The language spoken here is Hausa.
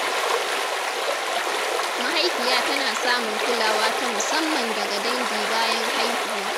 Mahaifiya tana samun kulawa ta musamman daga dangi bayan haihuwa.